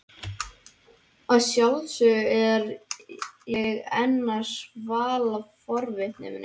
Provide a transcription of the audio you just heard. Að sjálfsögðu er ég enn að svala forvitni minni.